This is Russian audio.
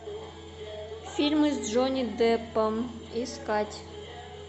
фильмы с джонни деппом искать